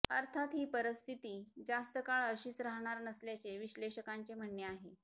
अर्थात ही परिस्थिती जास्त काळ अशीच राहणार नसल्याचे विश्लेषकांचे म्हणणे आहे